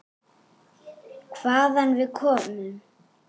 Hvaðan við komum.